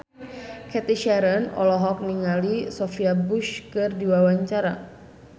Cathy Sharon olohok ningali Sophia Bush keur diwawancara